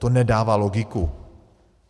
To nedává logiku.